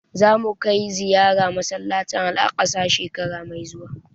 Za mu kai ziyara masallacin Al'aqsa shekara mai zuwa